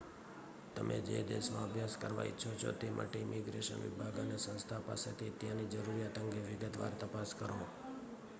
તમે જે દેશમાં અભ્યાસ કરવા ઈચ્છો છો તે માટે ઈમિગ્રેશન વિભાગ અને સંસ્થા પાસેથી ત્યાંની જરૂરિયાત અંગે વિગતવાર તપાસ કરો